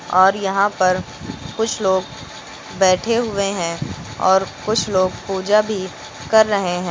और यहां पर कुछ लोग बैठे हुए हैं और कुछ लोग पूजा भी कर रहे हैं।